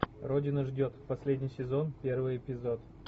родина ждет последний сезон первый эпизод